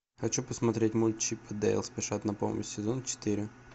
хочу посмотреть мульт чип и дейл спешат на помощь сезон четыре